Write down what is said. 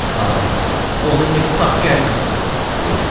Anası, onu heç sağ gəlməsin, dedi.